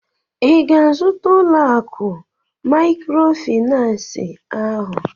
ị ga-azụta ụlọ akụ maịkrofịnansị ahụ?